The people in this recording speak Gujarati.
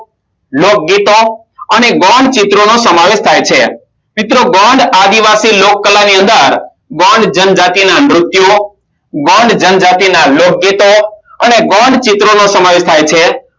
લોકગીતો અને ગોન ચિત્રોનો સમાવેશ થાય છે મિત્રો ગોંડ આદિવાસી લોકકલા ની અંદર ગોંડ જનજાતિના નૃત્યો ગોંડ જનજાતિના લોકગીતો અને ગોંડ ચિત્રોનો સમાવેશ થાય છે